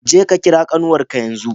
Je ka kira ƙanwarka yanzu!